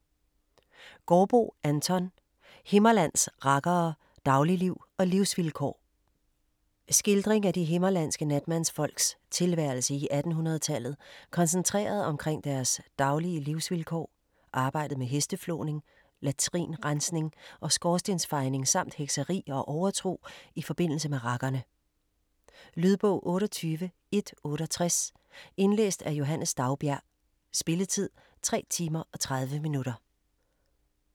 Gaardboe, Anton: Himmerlands rakkere: Dagligliv og livsvilkår Skildring af de himmerlandske natmandsfolks tilværelse i 1800-tallet koncentreret omkring deres daglige livsvilkår, arbejdet med hesteflåning, latrinrensning og skorstensfejning samt hekseri og overtro i forbindelse med rakkerne. . Lydbog 28168 Indlæst af Johannes Daugbjerg Spilletid: 3 timer, 30 minutter.